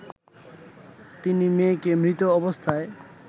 তিনি মেয়েকে মৃত অবস্থায়